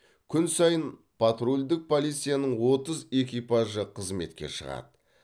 күн сайын патрульдік полицияның отыз экипажы қызметке шығады